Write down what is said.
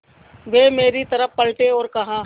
वे मेरी तरफ़ पलटे और कहा